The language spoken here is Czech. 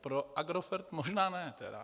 Pro Agrofert možná ne, tedy.